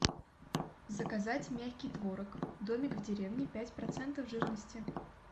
заказать мягкий творог домик в деревне пять процентов жирности